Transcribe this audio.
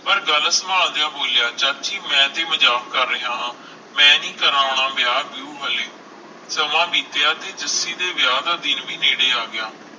ਪਰ ਗੱਲ ਸੰਭਾਲ ਦੀਆ ਬੋਲਿਆ ਚਾਚੀ ਮੈਂ ਤੇ ਮਜਾਕ ਕਰ ਰਿਹਾ ਹਾਂ ਮੈਂ ਨੀ ਕਰਾਉਣਾ ਵਿਆਹ ਵਿਉਹ ਹਲੇ ਸਮਾ ਬੀਤਿਆ ਤੇ ਜੱਸੀ ਦੇ ਵਿਆਹ ਦਾ ਦਿਨ ਵੀ ਨੇੜੇ ਆਗਿਆ